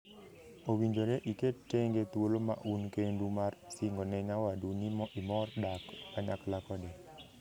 Owinjore iket tenge thuolo ma un kendu mar singone nyawadu ni imor dak kanyakla kode.